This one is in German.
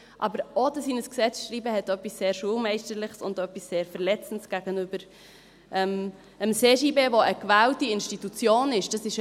Aber es hat etwas sehr Schulmeisterliches und etwas sehr Verletzendes gegenüber dem CJB, der eine gewählte Institution ist, das in ein Gesetz zu schreiben.